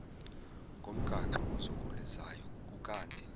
ngomgaqo ozungulezayo ukanti